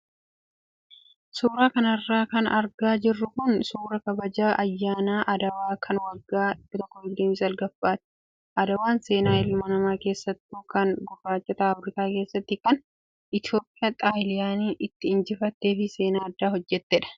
Suuraa kanarra kan argaa jirru kun suuraa kabaja ayyaana adwaa kan waggaa 129ffaati. Adwaan seenaa ilma namaa keessattuu kan gurraachota Afrikaa keessatti kan Itoophiyaan Xaaliyaanii itti injifattee fi seenaa addaa hojjattedha.